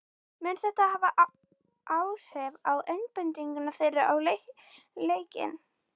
Mun þetta hafa áhrif á einbeitingu þeirra á leikinn?